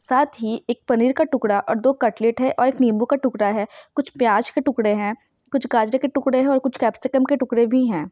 साथ ही एक पनीर का टुकड़ा और दो कटलेट है और एक नींबू का टुकड़ा है कुछ प्याज के टुकड़े है कुछ गाजर के टुकड़े है और कुछ कैप्सिकम के टुकड़े भी है ।